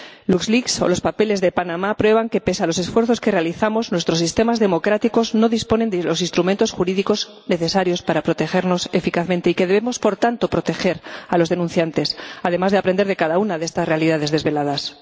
Luxleaks o los papeles de Panamá prueban que pese a los esfuerzos que realizamos, nuestros sistemas democráticos no disponen de los instrumentos jurídicos necesarios para protegernos eficazmente y que debemos, por tanto, proteger a los denunciantes, además de aprender de cada una de estas realidades desveladas.